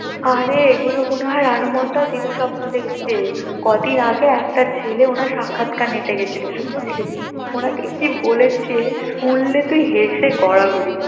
আরে এগুলো মনে হয় রানু মন্ডল দিনে স্বপ্ন দেখছে কদিন আগে একটা ছেলে ওনার সাক্ষাৎকার নিতে গিয়েছিল বুঝলি উনাকে কি বলে ছে শুনলে তুই হেসে গড়াগড়ি